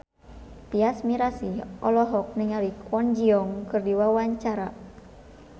Tyas Mirasih olohok ningali Kwon Ji Yong keur diwawancara